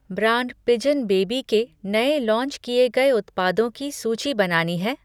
Brand Pigeon baby के नए launch किए गए उत्पादों की सूची बनानी है?